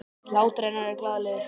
Hlátur hennar er glaðlegur.